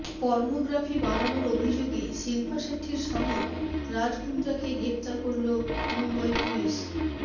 pornography বানানোর অভিযোগে শিল্পা শেট্টির স্বামী রাজ কুন্দ্রাকে গ্রেফতার করল মুম্বই পুলিশ